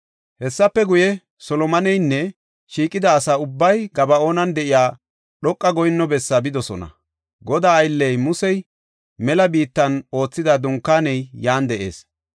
Hessafe guye, Solomoneynne shiiqida asa ubbay Gaba7oonan de7iya dhoqa goyinno bessaa bidosona. Godaa aylley Musey mela biittan oothida Dunkaaney yan de7ees.